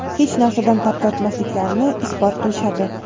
hech narsadan tap tortmasliklarini isbot qilishadi.